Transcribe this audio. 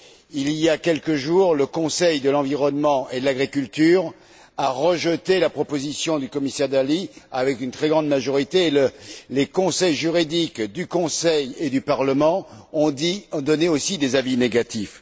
Il y a quelques jours encore, le Conseil de l'environnement et de l'agriculture a rejeté la proposition du commissaire Dalli à une très large majorité. Les conseils juridiques du Conseil et du Parlement ont aussi donné des avis négatifs.